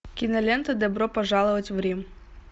кинолента добро пожаловать в рим